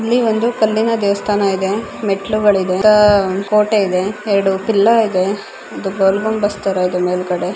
ಇಲ್ಲಿ ಒಂದು ಕಲ್ಲಿನ ದೇವಸ್ಥಾನ ಇದೆ ಮೆಟ್ಟಿಲುಗಳಿದೆ ಕೋಟೆ ಇದೆ ಎರಡು ಎಲ್ಲೋ ಇದೆ ಗೋಲ್ ಗುಂಬಜ್‌ ತರ ಇದೆ ಮೇಲ್ಗಡೆ--